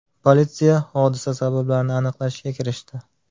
Politsiya hodisa sabablarini aniqlashga kirishdi.